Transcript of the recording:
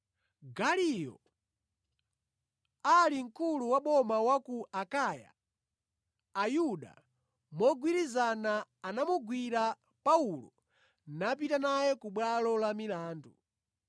Galiyo ali mkulu wa boma wa ku Akaya, Ayuda mogwirizana anamugwira Paulo napita naye ku bwalo la milandu.